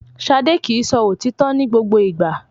Ṣadé kì í sọ òtítọ́ ní gbogbo ìgbà